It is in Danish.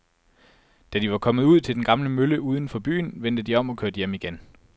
Da de var kommet ud til den gamle mølle uden for byen, vendte de om og kørte hjem igen.